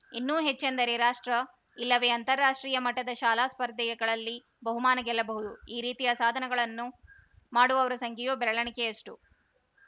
ಇನ್ನೂ ಹೆಚ್ಚೆಂದರೆ ರಾಷ್ಟ್ರ ಇಲ್ಲವೇ ಅಂತಾರಾಷ್ಟ್ರೀಯ ಮಟ್ಟದ ಶಾಲಾ ಸ್ಪರ್ಧೆಯಗಳಲ್ಲಿ ಬಹುಮಾನ ಗೆಲ್ಲಬಹುದು ಈ ರೀತಿಯ ಸಾಧನಗಳನ್ನ ಮಾಡುವವರ ಸಂಖ್ಯೆಯೂ ಬೆರಳೆಣಿಕೆಯಷ್ಟು